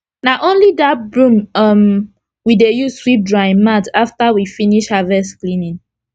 na only that broom um we dey use sweep drying mat after we finish harvest cleaning